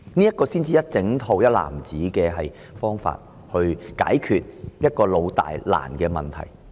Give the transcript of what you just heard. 這才是整套或一籃子的方法，解決這個"老"、"大"、"難"的問題。